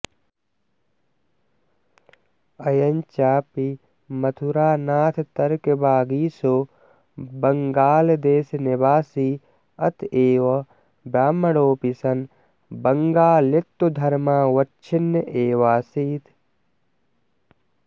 अयञ्चापि मथुरानाथतर्कवागीशो बङ्गालदेशनिवासी अत एव ब्राह्मणोऽपि सन् बङ्गालित्वधर्मावच्छिन्न एवासीत्